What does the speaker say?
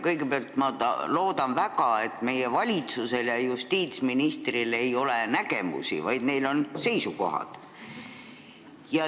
Kõigepealt, ma loodan väga, et meie valitsusel ja justiitsministril mitte ei ole nägemusi, vaid on seisukohad.